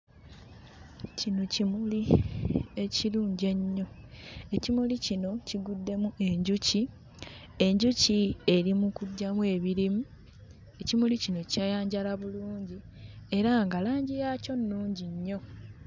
Kino kimuli ekirungi ennyo. Ekimuli kino kiguddemu enjuki, enjuki eri mu kuggyamu ebirimu. Ekimuli kino kyayanjala bulungi era nga langi yaakyo nnungi nnyo.